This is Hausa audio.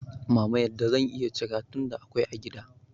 mama yadda zan iya cira, tunda akwai a gida.